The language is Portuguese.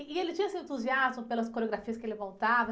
E, e ele tinha esse entusiasmo pelas coreografias que ele montava?